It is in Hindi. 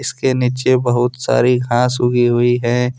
इसके नीचे बहुत सारी घास उगी हुई है।